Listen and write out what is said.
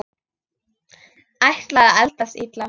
Ætlar að eldast illa.